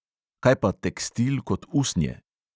Kaj pa tekstil kot usnje?